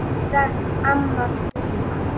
Kæra amma Villa.